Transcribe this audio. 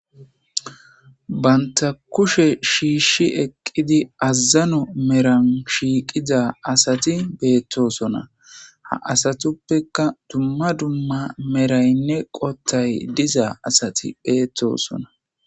Banta kushe shiishi eqqidi azzano meran shiiqiza asati beettosona ha asatuppeka dumma dumma meraynne qottay dizaa asati beettosona.